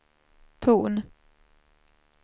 ton